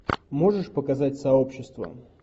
можешь показать сообщество